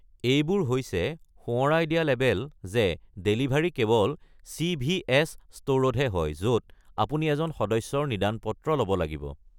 এইবোৰ হৈছে সোঁৱৰাই দিয়া লেবেল যে ডেলিভাৰী কেৱল চিভিএছ ষ্ট’ৰতহে হয়, য’ত আপুনি এজন সদস্যৰ প্ৰেছক্ৰিপচন ল’ব লাগিব।